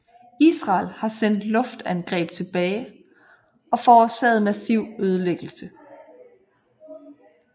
Israel har sendt luftangreb tilbage og forårsaget massiv ødelæggelse